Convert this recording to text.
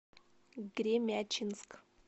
гремячинск